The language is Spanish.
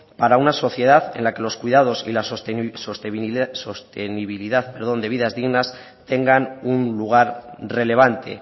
para una sociedad en la que los cuidados y la sostenibilidad de vidas dignas tengan un lugar relevante